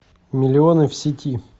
миллионы в сети